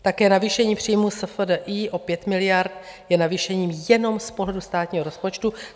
Také navýšení příjmů SFDI o 5 miliard je navýšením jenom z pohledu státního rozpočtu.